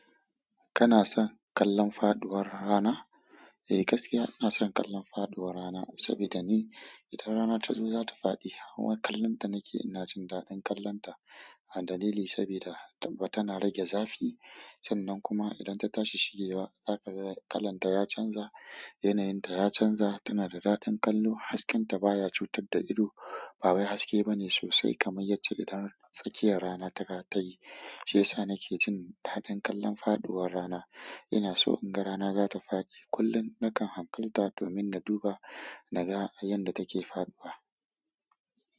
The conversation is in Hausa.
Kana son kallon faɗuwar rana? Eh gaskiya ina son kallon faɗuwar rana saboda ni idan rana ta zo za ta faɗi. Hauwan kallon ta nake ina jin daɗin kallon ta. A dalili saboda tana rage zafi sannan kuma idan ta tashi shigewa za ka ga kalan ta ya canza, yanayin ta ya canza. Tana da daɗin kallo hasken ta baya cutar da ido bawai haske bane sosai kaman yacce idan tsakiyan rana tayi. Shi yasa nake jin daɗin kallon faɗuwar rana. Ina so in ga rana za ta faɗi kullum nakan hankalta domin na duba na ga yanda take faɗuwa.